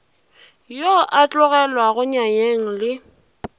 yo a tlogelwago nyanyeng le